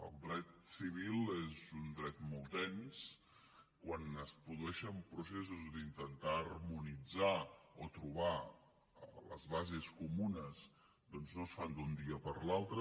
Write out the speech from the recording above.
el dret civil és un dret molt dens quan es produeixen processos d’intentar harmonitzar o trobar les bases comunes doncs no es fan d’un dia per l’altre